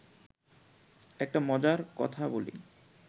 একটা মজার কথা বলি